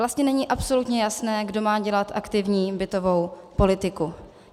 Vlastně není absolutně jasné, kdo má dělat aktivní bytovou politiku.